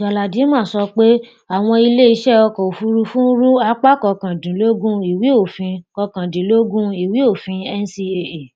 galadima sọ pé àwọn ilé iṣẹ ọkọ òfurufú ń rú apá kọkàndínlógún ìwé òfin kọkàndínlógún ìwé òfin ncaa